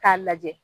K'a lajɛ